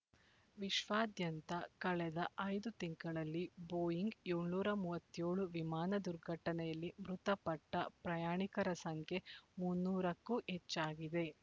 ವಿಶ್ವದಾದ್ಯಂತ ಕಳೆದ ಐದು ತಿಂಗಳಲ್ಲಿ ಬೊಯಿಂಗ್ ಏಳುನೂರ ಮೂವತ್ಯೋಳು ವಿಮಾನ ದುರ್ಘಟನೆಯಲ್ಲಿ ಮೃತಪಟ್ಟ ಪ್ರಯಾಣಿಕರ ಸಂಖ್ಯೆ ಮುನ್ನೂರು ಕ್ಕೂ ಹೆಚ್ಚಾಗಿದೆ